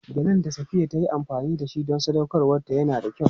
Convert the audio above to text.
Gelen da Safiya ta yi amfani da ita don sadaukarwarta yana da kyau.